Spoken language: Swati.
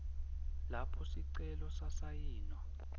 lapho sicelo sasayinwa